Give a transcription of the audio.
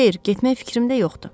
Xeyr, getmək fikrimdə yoxdu.